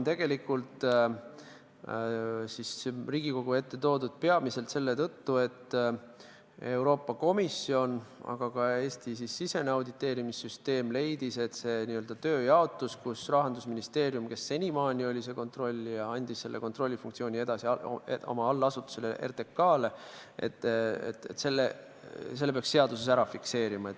Tegelikult on see eelnõu Riigikogu ette toodud peamiselt selle tõttu, et nii Euroopa Komisjon kui ka Eesti-sisene auditeerimissüsteem leidsid, et see n-ö tööjaotus, mille korral Rahandusministeerium, kes seni oli kontrollija, andis kontrollifunktsiooni üle oma allasutusele RTK-le, tuleks seaduses fikseerida.